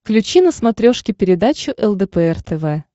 включи на смотрешке передачу лдпр тв